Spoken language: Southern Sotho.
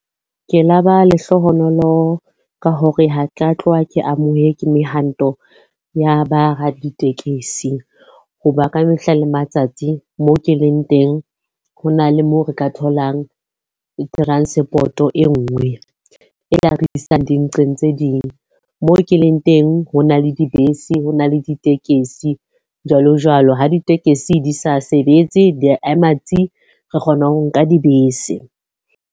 Ke laba lehlohonolo ka hore ha tla tloha ke mehwanto ya ba raditekesi. Hoba ka mehla le matsatsi moo ke leng teng, ho na le moo re ka tholang transport-o e nngwe e re isang di nqeng tse ding. Moo ke leng teng ho na le dibese, ho na le ditekesi jwalo-jwalo. Ha ditekesi di sa sebetse di a ema tsi! Re kgona ho nka dibese.